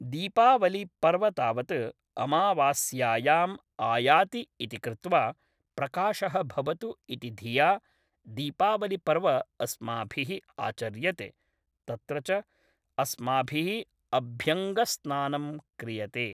दीपावलि पर्व तावत् अमावास्यायाम् आयाति इति कृत्वा प्रकाशः भवतु इति धिया दीपावलिपर्व अस्माभिः आचर्यते तत्र च अस्माभिः अभ्यङ्गस्नानं क्रियते